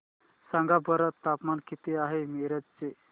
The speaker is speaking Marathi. सांगा बरं तापमान किती आहे मिरज चे